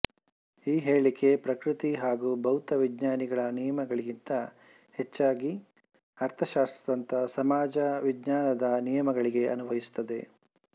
ಈ ಹೇಳಿಕೆ ಪ್ರಕೃತಿ ಹಾಗೂ ಭೌತವಿಜ್ಞಾನಿಗಳ ನಿಯಮಗಳಿಗಿಂತ ಹೆಚ್ಚಾಗಿ ಅರ್ಥಶಾಸ್ತ್ರದಂಥ ಸಮಾಜ ವಿಜ್ಞಾನದ ನಿಯಮಗಳಿಗೆ ಅನ್ವಯಿಸುತ್ತದೆ